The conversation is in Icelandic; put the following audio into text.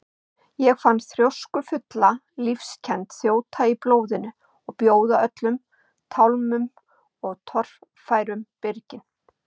Ég fann þrjóskufulla lífskennd þjóta í blóðinu og bjóða öllum tálmum og torfærum byrgin.